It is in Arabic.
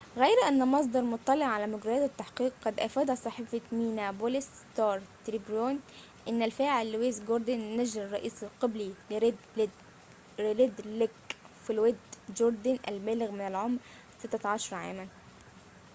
غير أن مصدر مطلع على مجريات التحقيق قد أفاد صحيفة مينيابوليس ستار تريبيون إن الفاعل لويس جوردن نجل الرئيس القبلي لريد ليك فلويد جوردن البالغ من العمر 16 عاماً